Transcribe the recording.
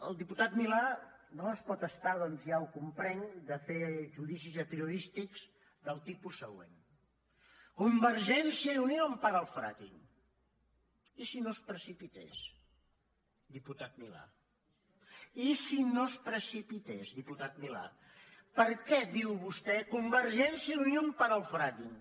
el diputat milà no es pot estar doncs ja ho comprenc de fer judicis apriorístics del tipus següent convergència i unió empara el frackingtés diputat milà i si no es precipités diputat milà per què diu vostè convergència i unió empara el fracking